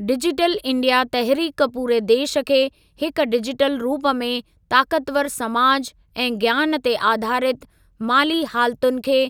digital India तहरिक पूरे देश खे हिक डिजिटल रूप में ताक़तवरु समाज ऐं ज्ञान ते आधारित माली हालतुनि खे